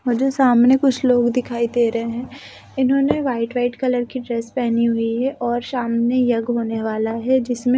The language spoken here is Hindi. मुझे सामने कुछ लोग दिखाई दे रहे हैं इन्होंने वाइट-वाइट कलर की ड्रेस पहनी हुई है और सामने यग होने वाला है जिसमे--